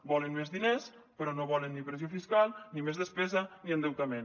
volen més diners però no volen ni pressió fiscal ni més despesa ni endeutament